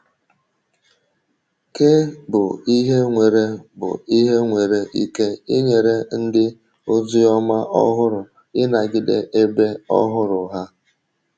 Kí bụ ihe nwere bụ ihe nwere ike inyere ndị oziọma ọhụrụ ịnagide ebe ọhụrụ ha?